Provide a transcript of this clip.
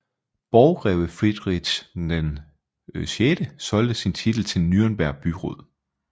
Borggreve Friedrich VI solgte sin titel til Nürnberg byråd